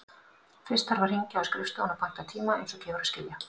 Fyrst þarf að hringja á skrifstofuna og panta tíma, eins og gefur að skilja.